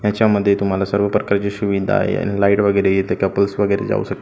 ह्याच्यामध्ये तुम्हाला सर्व प्रकारचे सुविधा आहे आणि लाईट वगैरे आहे इथ कपल्स वगैरे जावू शकता.